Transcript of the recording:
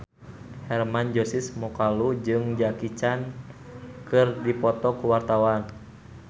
Hermann Josis Mokalu jeung Jackie Chan keur dipoto ku wartawan